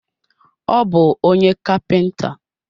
Ọ bu onye kapinta